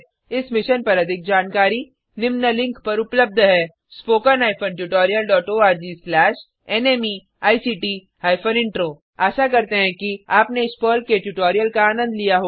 इस मिशन पर अधिक जानकारी निम्न लिंक पर उपलब्ध है httpspoken tutorialorgNMEICT Intro आशा करते हैं कि आपने इस पर्ल के ट्यूटोरियल का आनंद लिया होगा